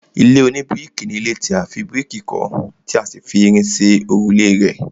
ilé oníbíríkì ni ilé tí a fi bíríkì kọ́ tí a sì fi irin ṣe òrùlé rẹ̀